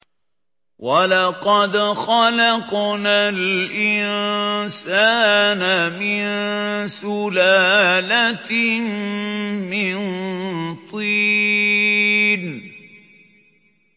وَلَقَدْ خَلَقْنَا الْإِنسَانَ مِن سُلَالَةٍ مِّن طِينٍ